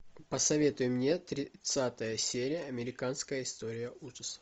посоветуй мне тридцатая серия американская история ужасов